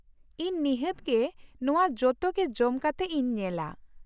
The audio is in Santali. ᱤᱧ ᱱᱤᱷᱟᱹᱛ ᱜᱮ ᱱᱚᱶᱟ ᱡᱚᱛᱚ ᱜᱮ ᱡᱚᱢ ᱠᱟᱛᱮ ᱤᱧ ᱧᱮᱞᱟ ᱾